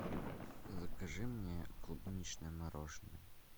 закажи мне клубничное мороженное